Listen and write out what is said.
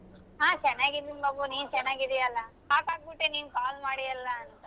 ಹ ಚೆನ್ನಾಗ್ ಇದ್ದೀನ್ ಬಾಬು ನೀನ್ ಚೆನ್ನಾಗಿದ್ದೀಯಲ್ಲ shock ಆಗ್ಬಿಟ್ಟೆ ನೀನ್ call ಮಾಡಿಯೇಲ್ಲಂತ.